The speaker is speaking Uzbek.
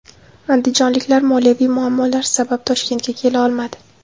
Andijonliklar moliyaviy muammolar sabab Toshkentga kela olmadi.